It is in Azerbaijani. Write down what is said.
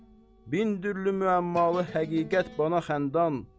Min dürlü müəmmalı həqiqət bana xəndan.